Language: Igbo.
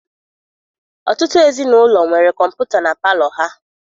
Ọtụtụ ezinaụlọ nwere kọmputa na palọ ha.